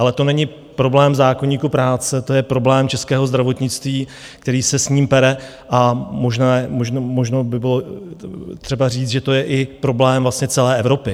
Ale to není problém zákoníku práce, to je problém českého zdravotnictví, který se s ním pere, a možná by bylo třeba říct, že to je i problém celé Evropy.